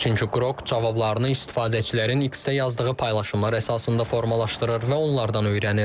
Çünki Qrok cavablarını istifadəçilərin X-də yazdığı paylaşımlar əsasında formalaşdırır və onlardan öyrənir.